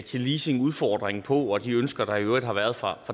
til leasingudfordringen på og til de ønsker der i øvrigt har været fra